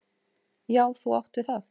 Já, þú átt við það!